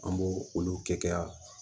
An b'o olu kɛ yan